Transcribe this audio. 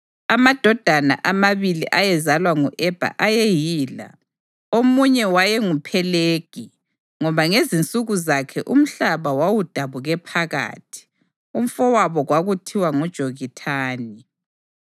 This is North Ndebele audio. Amadodana amabili ayezalwa ngu-Ebha ayeyila: Omunye wayenguPhelegi, ngoba ngezinsuku zakhe umhlaba wawudabuke phakathi; umfowabo kwakuthiwa nguJokithani.